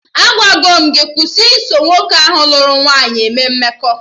Agwago m gị kwụsị iso nwoke ahụ lụrụ nwaanyị eme mmekọ